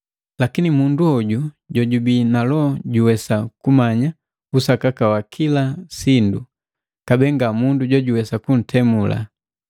Lakini mundu hoju jojubii na Loho juwesa kumanya usakaka wa kila sindu, kabee nga mundu jojuwesa kuntemula.